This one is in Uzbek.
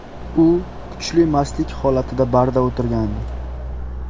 U kuchli mastlik holatida barda o‘tirgandi.